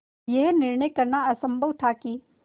यह निर्णय करना असम्भव था कि